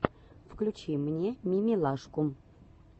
включи мне мимилашку